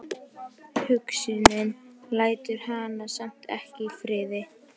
Hugsunin lætur hana samt ekki í friði.